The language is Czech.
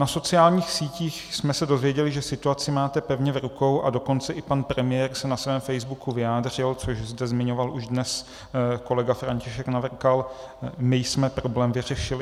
Na sociálních sítích jsme se dozvěděli, že situaci máte pevně v rukou, a dokonce i pan premiér se na svém Facebooku vyjádřil, což zde zmiňoval již dnes kolega František Navrkal: my jsme problém vyřešili.